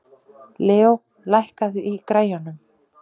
Leo, lækkaðu í græjunum.